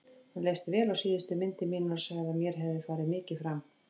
Honum leist vel á síðustu myndir mínar og sagði að mér hefði farið mikið fram.